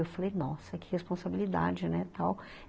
Eu falei, nossa, que responsabilidade, né, tal.